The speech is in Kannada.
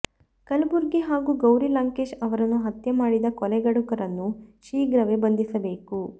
ಕಲಬುರ್ಗಿ ಹಾಗೂ ಗೌರಿ ಲಂಕೇಶ್ ಅವರನ್ನು ಹತ್ಯೆ ಮಾಡಿದ ಕೊಲೆಗಡುಕರನ್ನು ಶೀಘ್ರವೇ ಬಂಧಿಸಬೇಕು